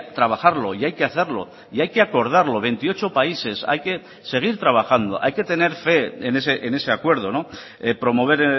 trabajarlo y hay que hacerlo y hay que acordarlo veintiocho países hay que seguir trabajando hay que tener fe en ese acuerdo promover